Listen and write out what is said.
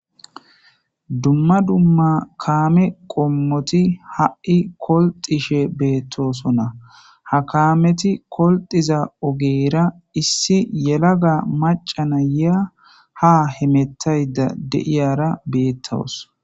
Dumma dumma kaame qommoti ha7i kolxishe beettosonna ha kaameti kolxiza ogeera issi yelaga macana ya ha hemettayda deiyara beettawos.